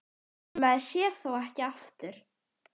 Maður sér þá ekki aftur.